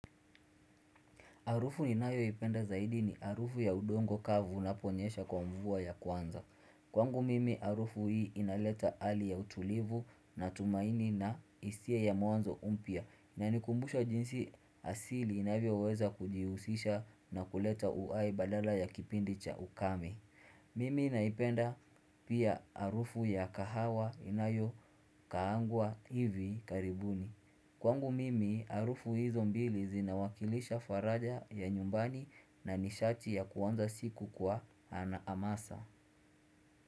Harufu ninayoipenda zaidi ni harufu ya udongo kavu unaponyesha kwa mvua ya kwanza. Kwangu mimi harufu hii inaleta hali ya utulivu na tumaini na hisia ya mwanzo mpya. Inanikumbusha jinsi asili inavyoweza kujihusisha na kuleta uhai badala ya kipindi cha ukame. Mimi naipenda pia harufu ya kahawa inayokaangwa hivi karibuni. Kwangu mimi harufu hizo mbili zinawakilisha faraja ya nyumbani na nishati ya kuanza siku kwa na hamasa.